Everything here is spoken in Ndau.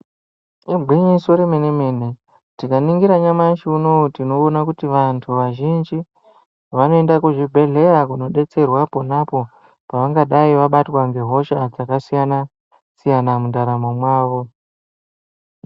Igwinyiso romene mene. Tikaningira nyamashi uno uyu tinoona kuti vandu vazhinji vanoenda kuzvibhedyera kunodetserwaa topano pavangadai vabatwa nehosha dzakasiyana siyana mundaramo mavo.